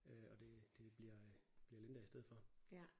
Øh og det det bliver øh bliver Linda i stedet for